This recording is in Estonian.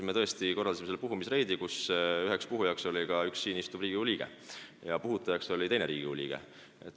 Me tõesti korraldasime seal puhumisreidi ning üheks puhujaks oli ka üks siin istuv Riigikogu liige ja n-ö puhutajaks oli teine Riigikogu liige.